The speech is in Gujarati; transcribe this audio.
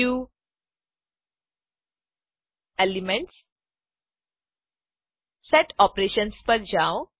વ્યૂ એલિમેન્ટ્સ સેટ ઓપરેશન્સ પર જાવ